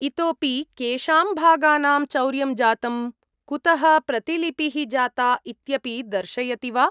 इतोऽपि केषां भागानां चौर्यं जातम्, कुतः प्रतिलिपिः जाता इत्यपि दर्शयति वा?